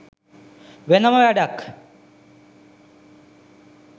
වෙනම වැඩක්.